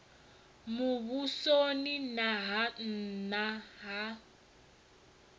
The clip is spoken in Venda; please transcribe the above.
muvhusoni na ha nna ha